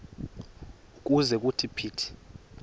ukuze kuthi phithi